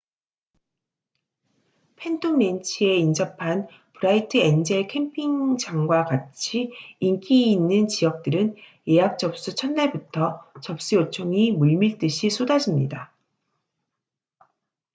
팬톰랜치에 인접한 브라이트 엔젤 캠핑장과 같이 인기 있는 지역들은 예약 접수 첫 날부터 접수 요청이 물밀듯이 쏟아집니다